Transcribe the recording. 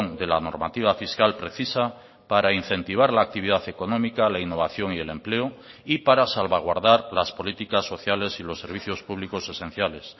de la normativa fiscal precisa para incentivar la actividad económica la innovación y el empleo y para salvaguardar las políticas sociales y los servicios públicos esenciales